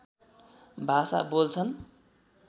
भाषा बोल्छन्